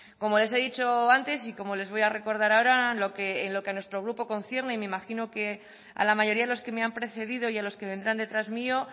como les he dicho antes y como les voy a recordar ahora en lo que nuestro grupo concierne y me imagino que a la mayoría de los que me han precedido y a los que vendrán detrás mío